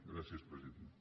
gràcies president